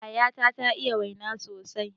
Yayata ta iya waina sosai